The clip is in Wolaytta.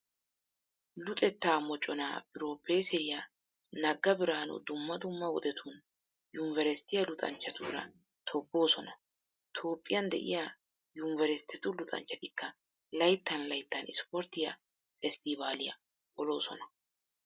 Luxettaa moconaa pirooppeeseriya nagga biraanu dumma dumma wodetun yunveresttiya luxanchchatuura tobboosona. Toophphiyan de'iya yunveresttetu luxanchchatikka layttan layttan ispporttiya festtibaaliya poloosona.